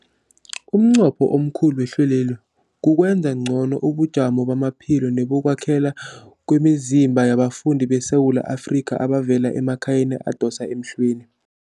Umnqopho omkhulu wehlelweli kukwenza ngcono ubujamo bamaphilo nebokwakhela kwemizimba yabafundi beSewula Afrika abavela emakhaya adosa emhlweni.